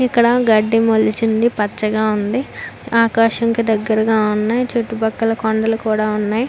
ఇక్కడ గడ్డి మొలిసింది పచ్చగా ఉంది. ఆకాశంకి దెగ్గరగా ఉన్నాయి చుట్టూ పక్కన కొండలు కూడా ఉన్నాయి --